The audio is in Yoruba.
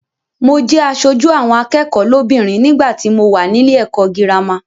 Mo jẹ aṣojú àwọn akẹ́kọ̀ọ́ lóbìnrin nígbàtí mo wà nílé ẹ̀kọ́ gírámà.